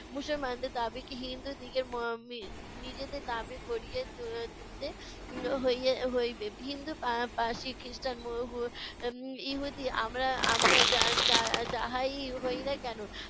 মুসলমানদের দাবিকে হিন্দুদিগের ম~ মি~ নিজেদের দাবি করিয়ে ত~ তুলতে হইয়ে হইবে। হিন্দু, পা~ পারসি, খ্রিষ্টান, মোঘল, উম ইহুদি - আমরা আমরা যা যা যাহাই হই না কেন